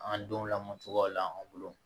An denw lamɔcogoyaw la an bolo